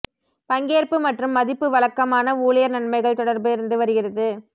பங்கேற்பு மற்றும் மதிப்பு வழக்கமான ஊழியர் நன்மைகள் தொடர்பு இருந்து வருகிறது